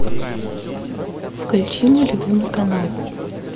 включи мой любимый канал